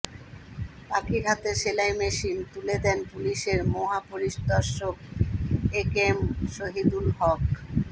পাখির হাতে সেলাই মেশিন তুলে দেন পুলিশের মহাপরিদর্শক একেএম শহীদুল হক